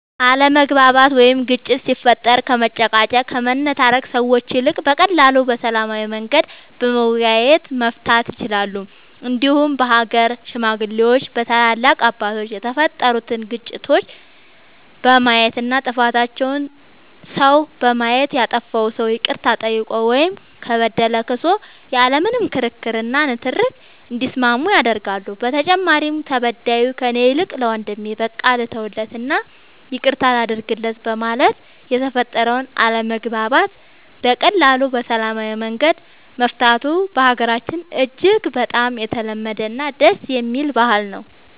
አለመግባባት ወይም ግጭት ሲፈጠር ከመጨቃጨቅ ከመነታረክ ሰዎች ይልቅ በቀላሉ በሰላማዊ መንገድ በመወያየት መፍታት ይቻላል እንዲሁም በሀገር ሽማግሌዎች በታላላቅ አባቶች የተፈጠሩትን ግጭቶች በማየት እና ጥፋተኛውን ሰው በማየት ያጠፋው ሰው ይቅርታ ጠይቆ ወይም ከበደለ ክሶ ያለ ምንም ክርክር እና ንትርክ እንዲስማማ ያደርጋሉ በተጨማሪም ተበዳዩ ከእኔ ይልቅ ለወንድሜ በቃ ልተውለት እና ይቅርታ ላድርግለት በማለት የተፈጠረውን አለመግባባት በቀላሉ በሰላማዊ መንገድ መፍታቱ በሀገራችን እጅግ በጣም የተለመደ እና ደስ የሚል ባህል ነው።